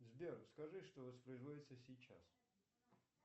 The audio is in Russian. сбер скажи что воспроизводится сейчас